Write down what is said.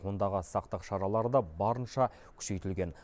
ондағы сақтық шаралары да барынша күшейтілген